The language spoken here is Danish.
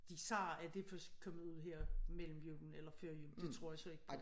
De sagde at det først kom ud her mellem julen eller før jul det tror jeg så ikke på